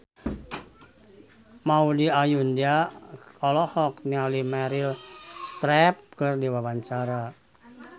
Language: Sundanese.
Maudy Ayunda olohok ningali Meryl Streep keur diwawancara